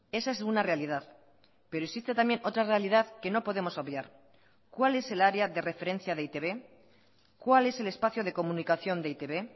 esa es una realidad pero existe también otra realidad que no podemos obviar cuál es el área de referencia de e i te be cuál es el espacio de comunicación de e i te be